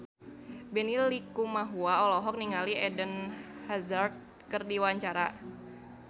Benny Likumahua olohok ningali Eden Hazard keur diwawancara